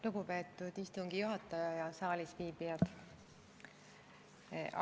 Lugupeetud istungi juhataja ja saalis viibijad!